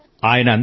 అవును సర్